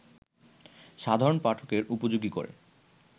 সাধারণ পাঠকের উপযোগী করে